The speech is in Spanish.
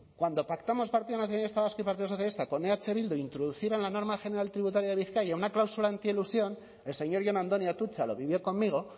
cuando pactamos el partido nacionalista vasco y el partido socialista con eh bildu introducir en la norma general tributaria de bizkaia una cláusula antielusión el señor jon andoni atutxa lo vivió conmigo